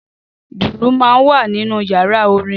Dùrù máa ń wà nínú yàrá orin